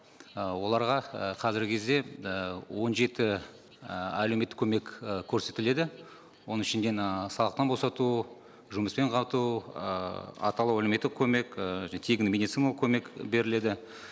і оларға і қазіргі кезде і он жеті і әлеуметтік көмек і көрсетіледі оның ішінде мына салықтан босату жұмыспен қамту ыыы атаулы әлеуметтік көмек ыыы және тегін медициналық көмек беріледі